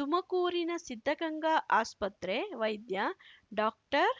ತುಮಕೂರಿನ ಸಿದ್ಧಗಂಗಾ ಆಸ್ಪತ್ರೆ ವೈದ್ಯ ಡಾಕ್ಟರ್